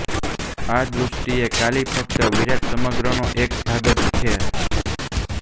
આ દૃષ્ટિએ કાલિ ફક્ત વિરાટ સમગ્રનો એક ભાગ જ છે